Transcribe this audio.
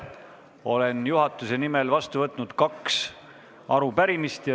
Olen juhatuse nimel vastu võtnud kaks arupärimist.